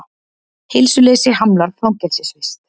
Heilsuleysi hamlar fangelsisvist